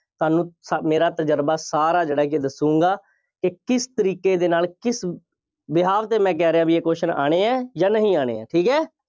ਤੁਹਾਨੂੰ ਤ~ ਮੇਰਾ ਤਜ਼ਰਬਾ ਸਾਰਾ ਜਿਹੜਾ ਕਿ ਦੱਸੂਗਾਂ ਕਿ ਕਿਸ ਤਰੀਕੇ ਦੇ ਨਾਲ ਕਿਸ behalf 'ਤੇ ਮੈਂ ਕਹਿ ਰਿਹਾ ਸੀ ਬਈ ਇਹ question ਆਉਣੇ ਆ ਜਾਂ ਨਹੀਂ ਆਉਣੇ, ਠੀਕ ਹੈ।